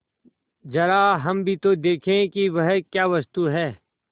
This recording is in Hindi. जरा हम भी तो देखें कि वह क्या वस्तु है